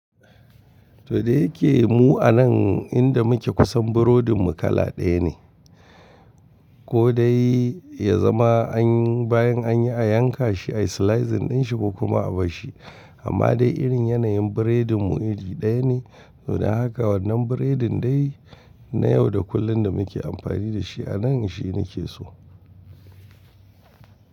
To dai yake mu a nan inda muke kusan burodin mu kala ɗaya ne. Ko dai ya zama an yi bayan an yi a yanka shi, a slicing din shi ba kuma a bar shi. Amma dai irin yanayin biredin mu iri ɗaya ne. To dan haka wannan biredin dai na yau da kullum da muke amfani da shi a nan shi nike so.